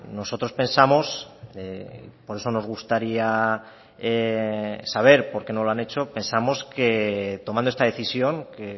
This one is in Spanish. nosotros pensamos por eso nos gustaría saber por qué no lo han hecho pensamos que tomando esta decisión que